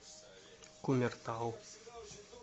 кумертау